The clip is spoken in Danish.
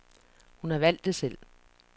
Hun har valgt det selv.